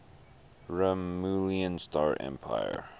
romulan star empire